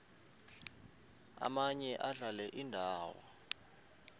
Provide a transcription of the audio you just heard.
omaye adlale indawo